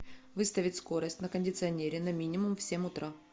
выставить скорость на кондиционере на минимум в семь утра